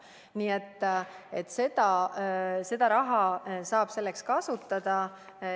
Nii et seda raha saab selleks kasutada.